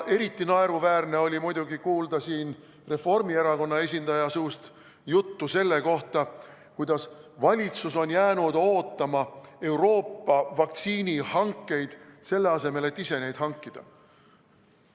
Eriti naeruväärne oli muidugi siin kuulda Reformierakonna esindaja suust juttu selle kohta, kuidas valitsus on jäänud ootama Euroopa vaktsiinihankeid, selle asemel et ise neid hankida.